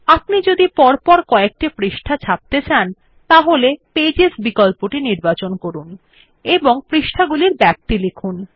আপনি যদি পরপর কযেকটি পৃষ্ঠা ছাপতে চান তাহলে পেজেস বিকল্পটি নির্বাচন করুন এবং পৃষ্ঠাগুলির ব্যাপ্তি লিখুন